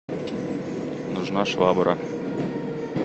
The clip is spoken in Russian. нужна швабра